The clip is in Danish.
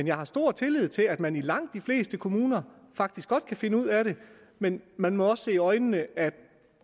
jeg har stor tillid til at man i langt de fleste kommuner faktisk godt kan finde ud af det men man må jo også se i øjnene at